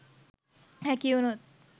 හැකි වුණොත්